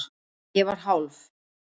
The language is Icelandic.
Ég var hálf